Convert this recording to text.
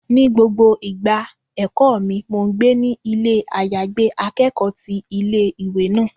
Ní gbogbo ìgbà ẹ̀kọ́ mi, mo gbé ní ilé àyágbé akẹ́kọ̀ọ́ ti ilé ìwé náà.